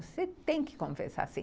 Você tem que confessar, sim.